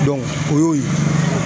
o y'o ye.